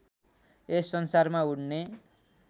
यस संसारमा उड्ने